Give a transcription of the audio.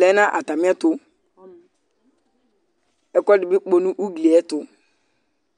lɛ nʋ atamɩ ɛtʋƐkʋɛdɩ bɩ kpɔ nʋ ugli ɛtʋ